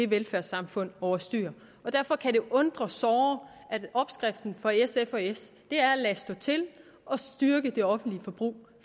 velfærdssamfundet over styr og derfor kan det jo undre såre at opskriften for sf og s er at lade stå til og styrke det offentlige forbrug